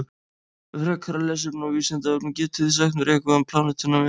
Frekara lesefni á Vísindavefnum: Getið þið sagt mér eitthvað um plánetuna Venus?